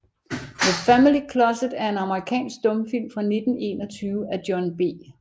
The Family Closet er en amerikansk stumfilm fra 1921 af John B